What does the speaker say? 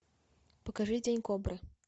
покажи день кобры